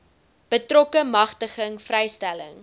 betrokke magtiging vrystelling